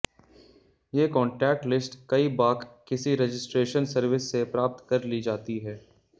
ये contact list कई बाक किसी रजिस्ट्रेशन सर्विस से प्राप्त कर ली जाती है